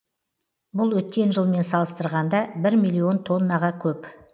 бұл өткен жылмен салыстырғанда бір миллион тоннаға көп